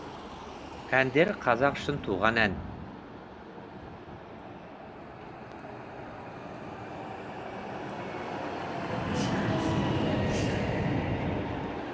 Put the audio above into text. әндері қазақ үшін туған ән